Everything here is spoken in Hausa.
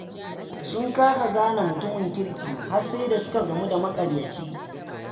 Sun kasa gane mutumin kirki har sai da suka gamu da maƙaryaci.